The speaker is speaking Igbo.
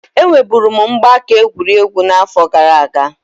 Enwe buru m mgbaaka egwurugwu na afọ gara aga.